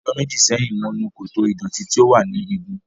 Ọjọ́ méjì sẹ́yìn, mo nu koto ìdọ̀tí tí ó wà ní igun.